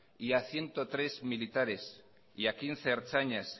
a ciento tres militares a quince ertzainas